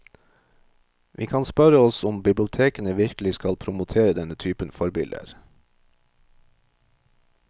Vi kan spørre oss om bibliotekene virkelig skal promotere denne typen forbilder.